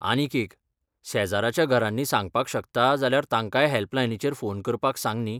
आनीक एक, शेजराच्या घरांनी सांगपाक शकता जाल्यार तांकांय हॅल्पलायनीचेर फोन करपाक सांग न्ही.